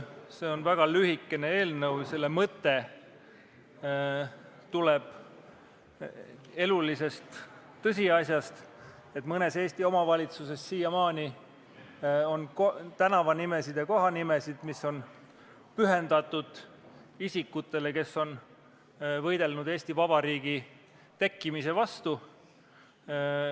See on väga lühikene eelnõu, selle mõte tuleb elulisest tõsiasjast, et mõnes Eesti omavalitsuses on siiamaani tänavanimesid ja kohanimesid, mis on pühendatud isikutele, kes on võidelnud Eesti Vabariigi tekkimise vastu.